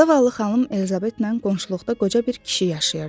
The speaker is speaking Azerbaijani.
Zavallı xanım Elizabetlə qonşuluqda qoca bir kişi yaşayırdı.